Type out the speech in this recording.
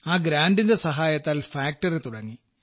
ആ ഗ്രാന്റിന്റെ സഹായത്താൽ ഫാക്ടറി തുടങ്ങി